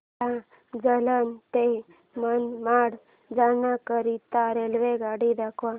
मला जालना ते मनमाड जाण्याकरीता रेल्वेगाडी दाखवा